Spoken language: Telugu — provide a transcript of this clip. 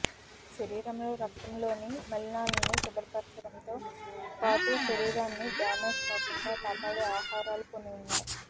శరీరంలో రక్తంలోని మలినాలను శుభ్రపరచడంతో పాటు శరీరాన్ని డ్యామేజ్ కాకుండా కాపాడే ఆహారాలు కొన్ని ఉన్నాయి